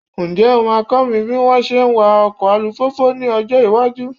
Ǹjẹ́ o máa kọ́ mi bí wọ́n ṣe ń wá ọkọ alùpùpù ní ọjọ́ iwájú?